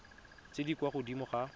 tse di kwa godimo ga